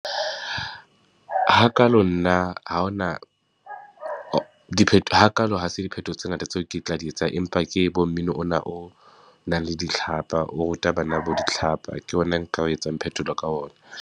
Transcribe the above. Hakalo nna ha ho na dipheto ha kalo ha se diphetho tse ngata tseo ke tla di etsang, empa ke bo mmino ona o nang le ditlhapa. O ruta bana bo ditlhapa ke yona e nka etsang phetholo ka ona.